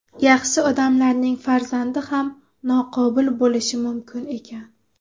Yaxshi odamlarning farzandi ham noqobil bo‘lishi mumkin ekan.